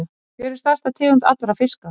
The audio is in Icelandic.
Hver er stærsta tegund allra fiska?